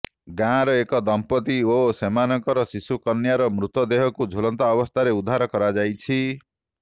ଗାଁର ଏକ ଦମ୍ପତି ଓ ସେମାନଙ୍କ ଶିଶୁ କନ୍ୟାର ମୃତଦେହକୁ ଝୁଲନ୍ତା ଅବସ୍ଥାରେ ଉଦ୍ଧାର କରାଯାଇଛି